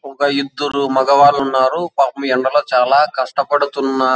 ఒక ఇద్దరు మగవాల్లున్నారు పాపం ఎండలో చాలా కష్టపడుతున్నా--